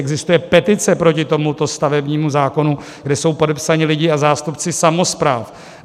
Existuje petice proti tomuto stavebnímu zákonu, kde jsou podepsaní lidé a zástupci samospráv.